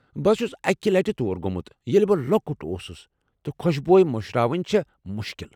بہٕ چھس اکہ لٹہ تور گومُت ییٚلہ بہٕ لۄکُٹ اوسُس تہٕ خوشبویہ مشراوٕنہِ چھِ مُشکٕل ۔